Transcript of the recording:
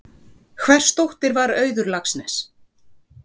Hvers dóttir var Auður Laxness?